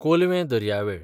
कोलवें दर्यावेळ